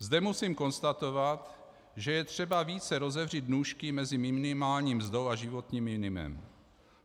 Zde musím konstatovat, že je třeba více rozevřít nůžky mezi minimální mzdou a životním minimem.